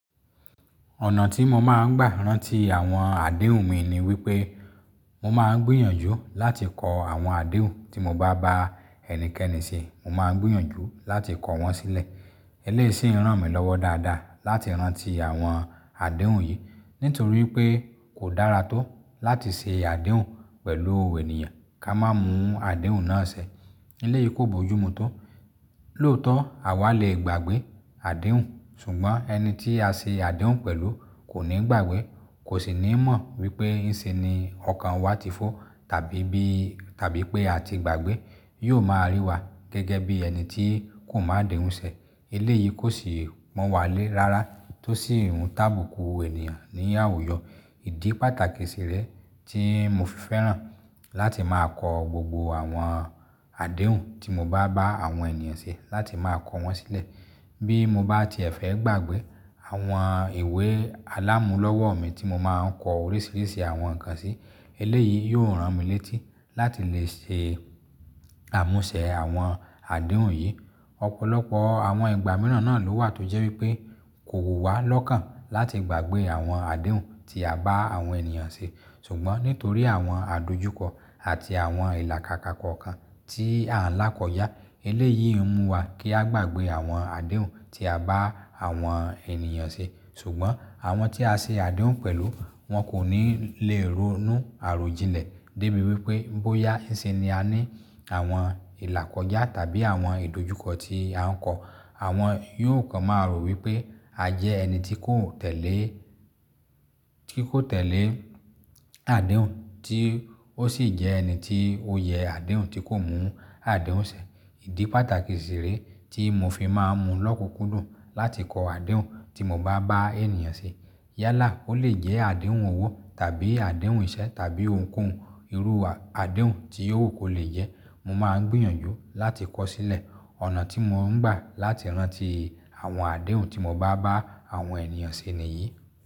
Ọ̀nà tí mo máa ń gbà rán ti àwọn àdéhùn mi ni wípé mo máa ń gbìyànjú láti kọ àwọn àdéhùn tí mo bá bá ẹnikẹ́ni ṣe, mo máa ń gbìyànjú láti kọ wọ́n sílẹ̀. Eléyìí sì ń ràn mí lọ́wọ́ dáadáa láti rán ti àwọn àdéhùn yìí, nítorí pé kò dára tó láti ṣe àdéhùn pẹ̀lú ènìyàn ká má mú àdéhùn náà ṣẹ̀. Eléyìí kò bójúmu tó. Lóòótọ́ àwa lè gbàgbé àdéhùn ṣùgbọ́n ẹni tí a ṣe àdéhùn pẹ̀lú kò ní gbàgbé, kò sì ní mọ̀ wípé ìsinni ọkàn wa ti fọ́ tàbí bí, tàbí pé a ti gbàgbé, yóò máa rí wa gẹ́gẹ́ bí ẹni tí kò mọ àdéhùn ṣẹ̀. Eléyìí kò sì pọ̀n wá lé rárá tó sì n tábùkù ènìyàn ní àwùjọ. Ìdí pàtàkì sì rẹ tí mo fi fẹ́ràn láti máa kọ gbogbo àwọn àdéhùn tí mo bá bá àwọn ènìyàn ṣe láti máa kọ wọ́n sílẹ̀. Bí mo bá ti ẹ̀fẹ̀ gbàgbé àwọn ìwé alámúlọ́wọ́ mi tí mo máa ń kọ oríṣiríṣi àwọn nǹkan sí, eléyìí yóò ràn mí létí láti lè ṣe àmúṣẹ àwọn àdéhùn yìí. Ọ̀pọ̀lọpọ̀ àwọn ìgbà mìíràn náà ló wà tó jẹ́ wípé kò wu wá lọ́kàn láti gbàgbé àwọn àdéhùn tí a bá àwọn ènìyàn ṣe. Ṣùgbọ́n nítorí àwọn àdojúkọ àti àwọn ìlàkàka kan kan tí à ń lákọjá, eléyìí ń mú wa kí a gbàgbé àwọn àdéhùn tí a bá àwọn ènìyàn ṣe. Ṣùgbọ́n àwọn tí a ṣe àdéhùn pẹ̀lú wọn kò ní lè ronú àròjinlẹ̀ débi wípé bóyá ìsinni a ní àwọn ìlàkọjá tàbí àwọn ìdojúkọ tí a ń kọ̀. Àwọn yóò kan máa rò wípé a jẹ́ ẹni tí kò tẹ́lẹ̀, tí kò tẹ́lẹ̀ àdéhùn tí ó sì jẹ́ ẹni tí ó yẹ àdéhùn tí kò mú àdéhùn ṣẹ̀. Ìdí pàtàkì sì rẹ tí mo fi máa ń mú lọ́kùnkúndùn láti kọ àdéhùn tí mo bá bá ènìyàn ṣe. Yálà ó lè jẹ́ àdéhùn òwò tàbí àdéhùn iṣẹ́ tàbí ohunkóhun irú àdéhùn tí ó wù kó lè jẹ́, mo máa ń gbìyànjú láti kọ sílẹ̀. Ọ̀nà tí mo ń gbà láti rán ti àwọn àdéhùn tí mo bá bá àwọn ènìyàn ṣe nìyí.